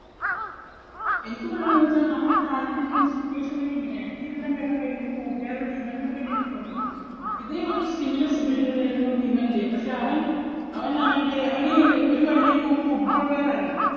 എനിക്ക് പറയാനുള്ളത് എന്തെന്ന് വെച്ചാൽ നമ്മുടെ രാജ്യത്തിൻറെ ഒരു situation തന്നെ ഇങ്ങനെയാണ്. എനിക്ക് ഇതെല്ലാം കേട്ടപ്പോൾ എൻറെ ഒരു കൂട്ടുകാരൻ വിമലിനെ പറ്റി എനിക്ക് ഓർമ്മ വന്നു. ഇതേ ഒരു similar situation തന്നെയായിരുന്നു വിമലിന്റെയും. പക്ഷേ അവൻ, അവൻ അവൻറെ, അവൻ ഒരു വലിയ ഒരു football player ആയിരുന്നു.